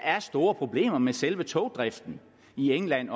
er store problemer med selve togdriften i england